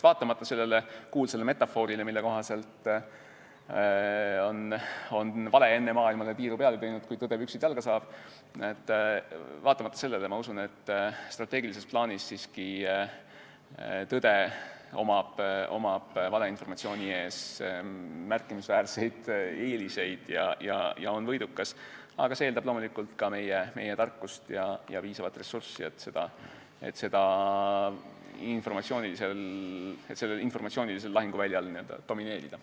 Vaatamata sellele kuulsale metafoorile, mille kohaselt on vale enne maailmale tiiru peale teinud, kui tõde püksid jalga saab, ma usun, et strateegilises plaanis on tõel siiski valeinformatsiooni ees märkimisväärseid eeliseid ja ta on võidukas, aga see eeldab loomulikult ka meie tarkust ja piisavat ressurssi, et sellel informatsioonilisel lahinguväljal n-ö domineerida.